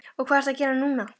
Og hvað ertu að gera núna?